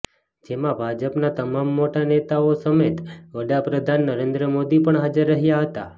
જેમાં ભાજપના તમામ મોટો નેતાઓ સમેત વડાપ્રધાન નરેન્દ્ર મોદી પણ હાજર રહ્યા હતા